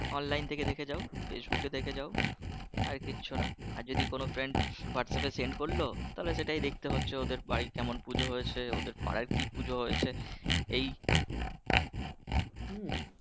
online থেকে দেখে যাও facebook থেকে দেখে যাও আর কিচ্ছুনা আর যদি কোনো whatsapp এ friend করলো তাহলে সেটাই দেখতে হচ্ছে ওদের বাড়ির কেমন পুজো হয়েছে ওদের পাড়ায় কী পুজো হয়েছে এই,